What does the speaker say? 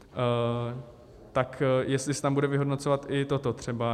Tak jestli se tam bude vyhodnocovat i toto třeba.